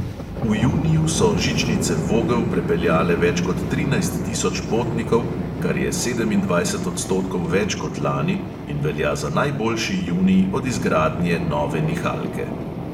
V juniju so žičnice vogel prepeljale več kot trinajst tisoč potnikov, kar je sedemindvajset odstotkov več kot lani in velja za najboljši junij od izgradnje nove nihalke.